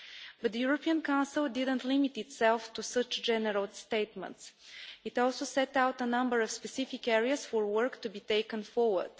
But the European Council didn't limit itself to such general statements it also set out a number of specific areas for work to be taken forward.